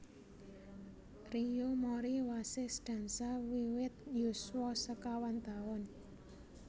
Riyo Mori wasis dansa wiwit yuswa sekawan taun